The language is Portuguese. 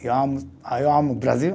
Eu amo, ah eu amo o Brasil.